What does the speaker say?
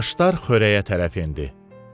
Başlar xörəyə tərəf endi.